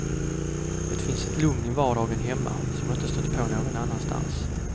Det finns ett lugn i vardagen hemma som jag inte stött på någon annanstans.